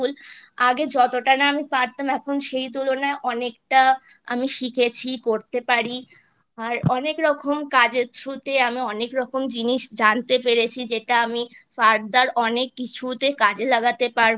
আগে যতটা না আমি পারতাম এখন সেই তুলনায় অনেকটা আমি শিখেছি পড়তে পারি আর অনেক রকম কাজের Through তে আমি অনেকরকম জিনিস জানতে পেরেছি যেটা আমি Further অনেক কিছুতে কাজে লাগাতে পারবো